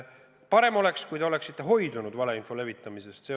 Parem oleks, kui te oleksite hoidunud valeinfo levitamisest.